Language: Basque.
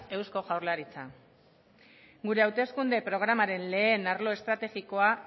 eusko jaurlaritza gure hauteskunde programaren lehen arlo estrategikoa